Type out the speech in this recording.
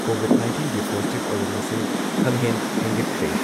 COVID ꯅꯥꯏꯟꯇꯤꯟꯒꯤ positive ꯑꯣꯏꯕ ꯃꯁꯤꯡ ꯈꯪꯍꯦꯟ ꯍꯦꯟꯒꯠꯈ꯭ꯔꯦ ꯫